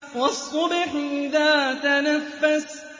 وَالصُّبْحِ إِذَا تَنَفَّسَ